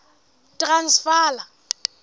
transvala